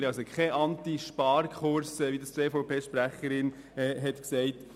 Wir verfolgen also keinen AntiSparkurs, wie das die EVP-Sprecherin vorhin unterstellt hat.